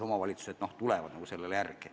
Omavalitsused tulevad nagu sellele järele.